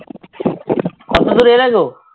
কতদূর এলে গো?